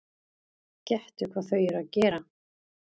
Gettu hvað þau eru að gera?